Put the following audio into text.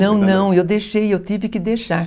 Não, não, eu deixei, eu tive que deixar.